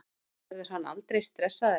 Verður hann aldrei stressaður?